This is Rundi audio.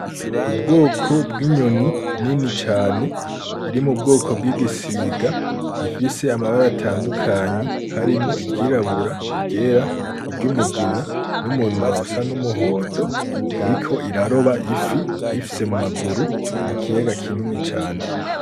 Ubwoko bw'inyoni nini cane iri mu bwoko bw'igisiga ifise amabari atandukanyi harimwo igirabura igera iryo umugina n'umunwa usa n'umuhondo biriko iraroba ifi ifise mu maguru mu kiyaga kinini cane.